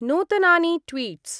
नूतनानि ट्वीट्स्।